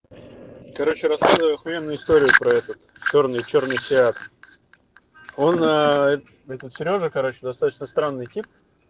короче рассказываю охуенную историю про этот чёрный чёрный фиат он этот серёжа короче достаточно странный тип